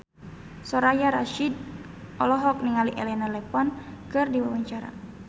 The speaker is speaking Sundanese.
Soraya Rasyid olohok ningali Elena Levon keur diwawancara